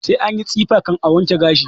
Sai anyi tsifa kan a wanke gashi